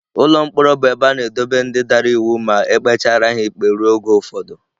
Ụlọ mkpọrọ bụ ebe a na-edobe ndị dara iwu ma e kpechara ha ikpe ruo oge ụfọdụ